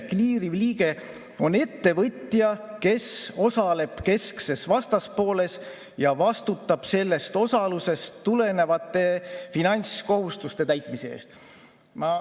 Kliiriv liige on ettevõtja, kes osaleb keskses vastaspooles ja vastutab sellest osalusest tulenevate finantskohustuste täitmise eest.